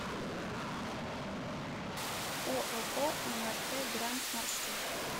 ооо мрт гранд маршрут